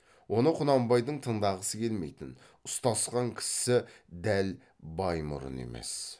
оны құнанбайдың тыңдағысы келмейтін ұстасқан кісісі дәл баймұрын емес